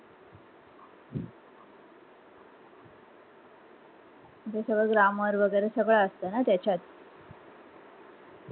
दुसरा grammar वगैरे असत ना त्याच्यात